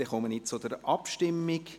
Wir kommen zur Abstimmung.